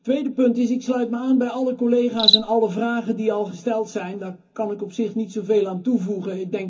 Tweede punt ik sluit mij aan bij alle collega's en alle vragen die al gesteld zijn, daar kan ik op zich niet zo veel aan toevoegen.